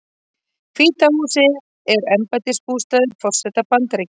Hvíta húsið er embættisbústaður forseta Bandaríkjanna.